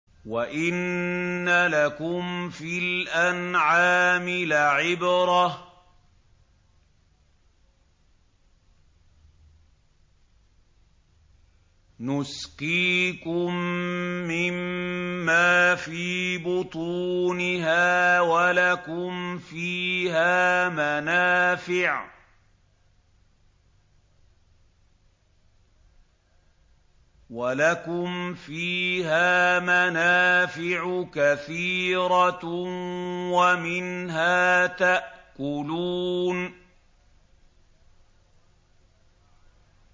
وَإِنَّ لَكُمْ فِي الْأَنْعَامِ لَعِبْرَةً ۖ نُّسْقِيكُم مِّمَّا فِي بُطُونِهَا وَلَكُمْ فِيهَا مَنَافِعُ كَثِيرَةٌ وَمِنْهَا تَأْكُلُونَ